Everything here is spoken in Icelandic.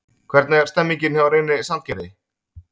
Hvernig er stemningin hjá Reyni Sandgerði?